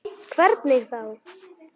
Hvernig þá?